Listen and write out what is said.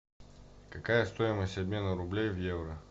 какая стоимость обмена рублей в евро